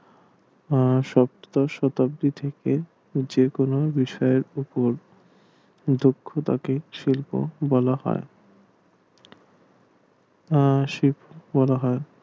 শতাব্দী থেকে যে কোনো বিষয়ের ওপর দক্ষতাকে শিল্প বলা হয় শিল্প বলা হয়